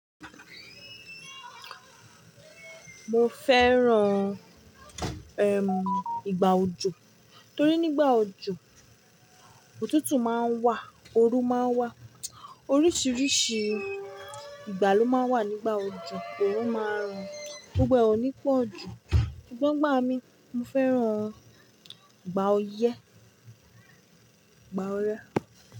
Mo fẹ́ran, ìgbà òjò torí nígbà òjò, òtútù máa ń wà, oru máa ń wà. Oríṣiríṣi ìgbà ló máa ń wà nígbà òjò, òrun máa ràn gbogbo ẹ oni pọ̀ jù. Ṣùgbọ́n igbá mi, mo fẹ́ran ìgbà oyẹ́, ìgbà oyẹ́